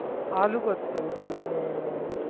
আলু করতে হবে দুজনে দুটো